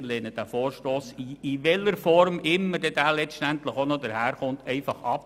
Wir lehnen diesen Vorstoss in welcher Form auch immer ab.